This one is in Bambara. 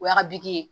O y'a bi ye